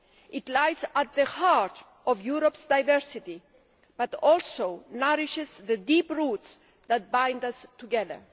It lies at the heart of Europe's diversity but also nourishes the deep roots that bind us together.